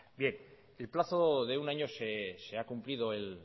el plazo de un año se ha cumplido el